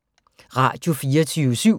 Radio24syv